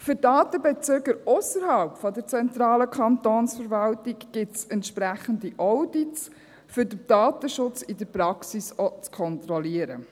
Für die Datenbezüger ausserhalb der zentralen Kantonsverwaltung gibt es entsprechende Audits, um den Datenschutz in der Praxis auch zu kontrollieren.